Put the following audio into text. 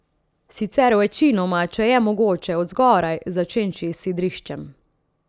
Sicer večinoma, če je mogoče, od zgoraj, začenši s sidriščem.